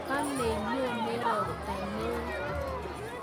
Kalei nyonei robtaneo